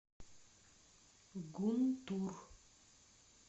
гунтур